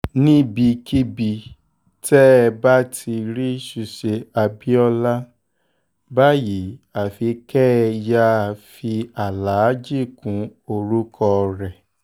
níbikíbi tẹ́ ẹ bá ti rí rí ṣùṣe abiola báyìí àfi kẹ́ ẹ yáa um fi aláàjì kún orúkọ um rẹ̀